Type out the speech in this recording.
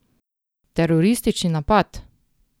Teroristični napad?